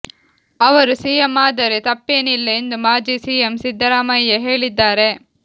ಅವರು ಸಿಎಂ ಆದರೆ ತಪ್ಪೇನಿಲ್ಲ ಎಂದು ಮಾಜಿ ಸಿಎಂ ಸಿದ್ದರಾಮಯ್ಯ ಹೇಳಿದ್ದಾರೆ